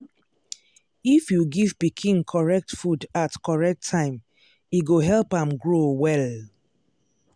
if you give pikin correct food at correct time e go help am grow well.